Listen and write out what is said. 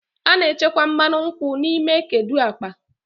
A na-echekwa mmanụ nkwụ n'ime kedu akpa.